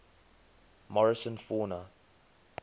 morrison fauna